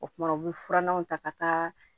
O kumana u bɛ furannanw ta ka taa